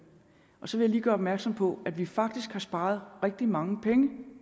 så vil jeg lige gøre opmærksom på at vi faktisk har sparet rigtig mange penge